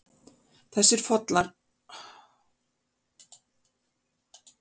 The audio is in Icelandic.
Þessir fossar eru allir mjög fallegir.